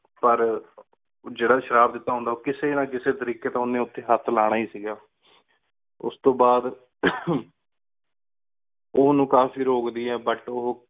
ਪਰ ਜੀਰਾ ਸ਼ਿਅਰ ਦੇਤਾ ਹੁੰਦਾ ਆਯ ਉਠੀ ਕਿਸੀ ਨਾ ਕਿਸੀ ਤ੍ਰਿਕ੍ਯ ਉਨੀਂ ਉਠੀ ਹੇਠ ਲਾਨਾ ਹੀ ਸੀ ਗਾ ਉਸ ਤੂੰ ਬਾਦ ਓ ਉਨੂ ਕਾਫੀ ਰੁਕਦੀ but ਉਹੁ